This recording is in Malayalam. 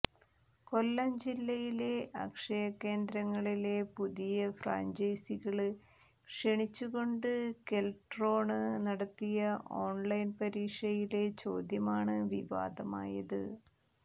കൊല്ലം ജില്ലയിലെ അക്ഷയകേന്ദ്രങ്ങളിലെ പുതിയ ഫ്രാഞ്ചൈസികള് ക്ഷണിച്ചു കൊണ്ട് കെല്ട്രോണ് നടത്തിയ ഓണ്ലൈന് പരീക്ഷയിലെ ചോദ്യമാണ് വിവാദമായത്